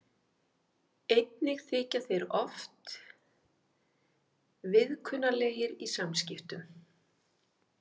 Einnig þykja þeir oft viðkunnanlegir í samskiptum.